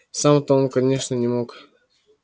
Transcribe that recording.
сам-то он конечно не мог